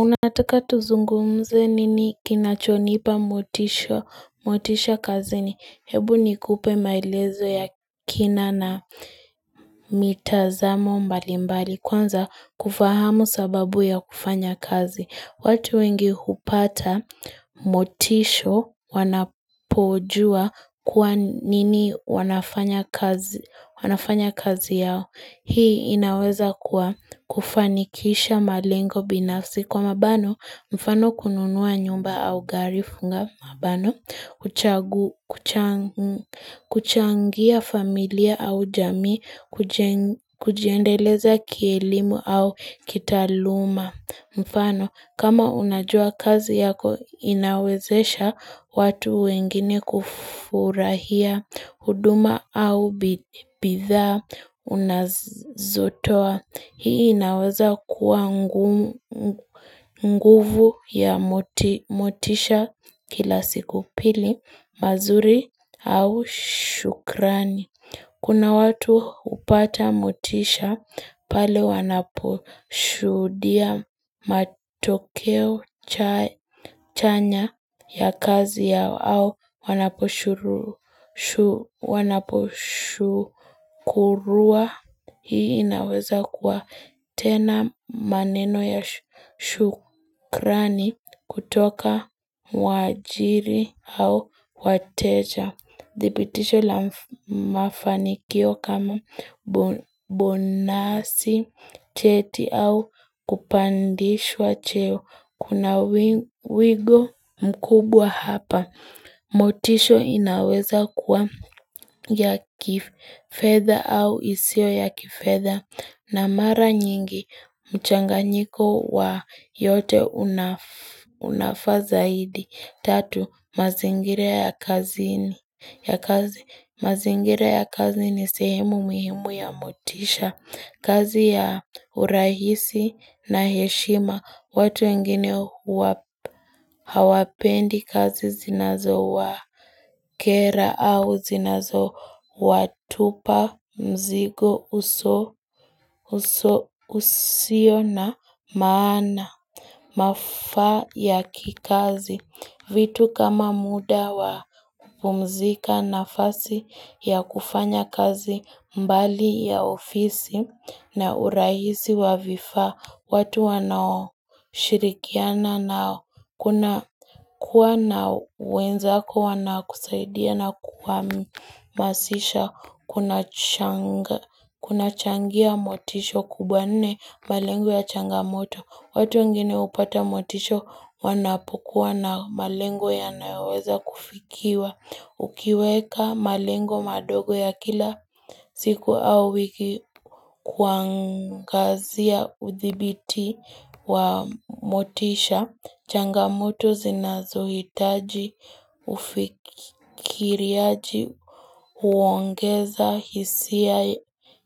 Unataka tuzungumze nini kinachonipa motisha, motisha kazini, hebu ni kupe maelezo ya kina na mitazamo mbalimbali kwanza kufahamu sababu ya kufanya kazi. Watu wengi hupata, motisha wanapojua kwa nini wanafanya kazi yao. Hii inaweza kuwa kufanikisha malengo binafsi. Kwa mabano, mfano kununua nyumba au gari funga mabano. Kuchangia familia au jamii, kujiendeleza kielimu au kitaaluma. Mfano kama unajua kazi yako inawezesha watu wengine kufurahia huduma au bidhaa unazotoa. Hii inaweza kuwa nguvu ya motisha kila siku pili mazuri au shukrani. Kuna watu hupata motisha pale wanaposhudia matokeo chanya ya kazi yao au wanaposhukuriwa hii inaweza kuwa tena maneno ya shukrani kutoka waajiri au wateja. Dhibitisho la mafanikio kama bonasi, cheti au kupandishwa cheo. Kuna wego mkubwa hapa. Motisho inaweza kuwa ya kifedha au isio ya kifedha. Na mara nyingi mchanga nyiko wa yote unafazaidi. Tatu mazingira ya kazini. Ya kazi mazingira ya kazi ni sehemu muhimu ya motisha kazi ya urahisi na heshima watu wengine hawapendi kazi zinazo wa kera au zinazo Watupa mzigo usio na maana Mafaa ya kikazi vitu kama muda wa kupumzika nafasi ya kufanya kazi mbali ya ofisi na urahisi wa vifaa watu wanao shirikiana na kuna kuwa na wenza ko wana kusaidia na kuwa masisha Kuna changia motisho kubwa nne malengo ya changamoto watu wengine upata motisho wanapokuwa na malengo ya nayoweza kufikiwa Ukiweka malengo madogo ya kila siku au wiki kuangazia udhibiti wa motisha. Changamoto zinazohitaji ufikiriaji uongeza hisia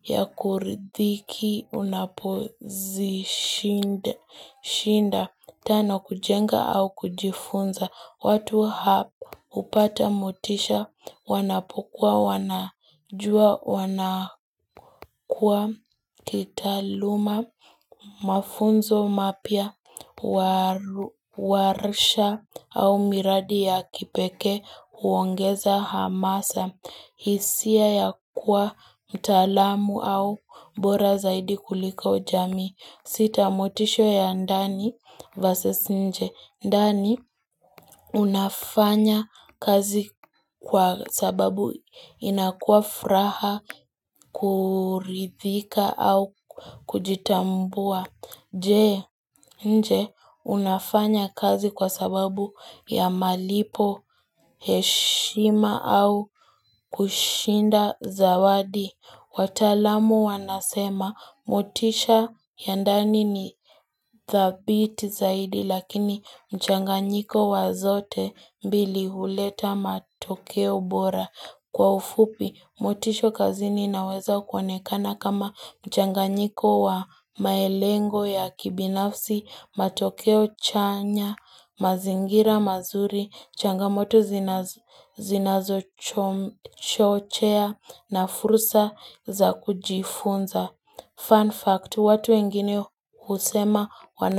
ya kuridhiki unapozishinda. Shinda, tano kujenga au kujifunza, watu hap upata motisha, wanapokuwa, wanajua, wanakua, kitaaluma, mafunzo mapya, warisha au miradi ya kipekee, uongeza hamasa, hisia ya kuwa mtaalamu au bora zaidi kuliko jamii. Sita motisho ya ndani versus nje ndani, unafanya kazi kwa sababu inakuwa furaha, kuridhika au kujitambua. Je, nje, unafanya kazi kwa sababu ya malipo, heshima au kushinda zawadi. Wataalamu wanasema motisha ya ndani ni dhabiti zaidi lakini mchanganyiko wazote mbili huleta matokeo bora. Kwa ufupi, motisho kazini inaweza kuonekana kama mchanganyiko wa maelengo ya kibinafsi, matokeo chanya, mazingira mazuri, changamoto zinazo chochea na furusa za kujifunza. Fun fact, watu wengine usema wanafupi.